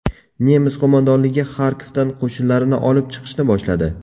Nemis qo‘mondonligi Xarkovdan qo‘shinlarini olib chiqishni boshladi.